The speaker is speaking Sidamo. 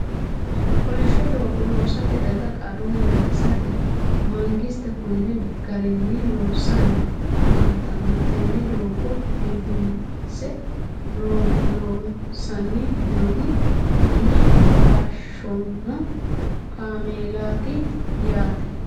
Kolishsho doogo loosatte daga qarunni gatisatte mangiste konni garinni loosisanni affanttanno. Tene doogo biiffisse loosanni noohu ume taashanno kaamelaatti yaatte